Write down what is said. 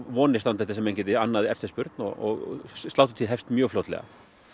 vonir standa til þess að menn geti annað eftirspurn og sláturtíð hefst mjög fljótlega